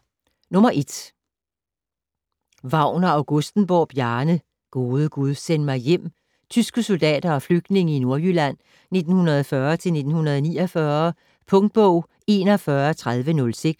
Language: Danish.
Wagner-Augustenborg, Bjarne: Gode gud, send mig hjem: tyske soldater og flygtninge i Nordjylland 1940-1949 Punktbog 413006